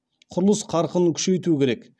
құрылыс қарқынын күшейту керек